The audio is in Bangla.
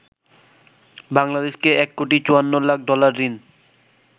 বাংলাদেশকে ১ কোটি ৫৪ লাখ ডলার ঋণ